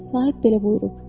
Sahib belə buyurub.